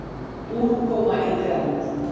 Úrkoma í grennd.